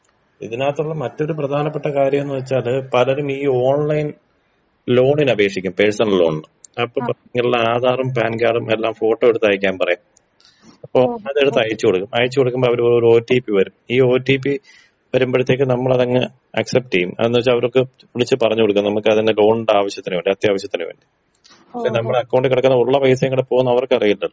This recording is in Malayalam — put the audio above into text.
ഇതിനകത്തുള്ള മറ്റൊരു പ്രധാനപ്പെട്ട കാര്യന്ന് വെച്ചാല് പലരും ഈ ഓൺലൈൻ ലോൺന് അപേക്ഷിക്കും പേഴ്സണൽ ലോൺന് നോട്ട്‌ ക്ലിയർ ആധാറും പാൻ കാർഡും എല്ലാം ഫോട്ടോ എടുത്ത് അയക്കാൻ പറയും അപ്പൊ അതെടുത്ത് അയച്ചു കൊടുക്കും അയച്ചു കൊടുക്കുമ്പൊ അവര് പറയും ഒരു ഒ ട്ടി പ്പി വരും ഈ ഒ ട്ടി പ്പി വരുമ്പഴത്തേക്കും നമ്മളതിങ്ങനെ അക്സെപ്റ്റീയും അതെന്ത് വെച്ചാ അവർക്ക് വിളിച്ച് പറഞ്ഞ് കൊടുക്ക നമ്മുക്കതിന്റെ ലോൺന്റെ ആവശ്യത്തിന് വേണ്ടി അത്യാവശ്യത്തിന് വേണ്ടി പക്ഷെ നമ്മുടെ അക്കൗണ്ടിൽ കെടക്കുന്ന ഉള്ള പൈസീം കൂടി പോവും ന്ന് അവർക്കറിയില്ലല്ലോ.